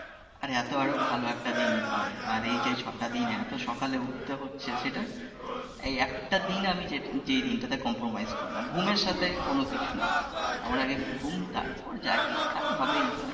আরে এতো আরো ভালো একটা দিনকে আর এইযে ছয়টা দিন এতো সকালে উঠতে হচ্ছে সেটা, এই একটা দিন আমি যে দিনটাতে compromise করি নাহ ঘুমের সাথে কোন কিছু নাহ আমার আগে ঘুম তারপর যা কিছু আরেহ হবেই তো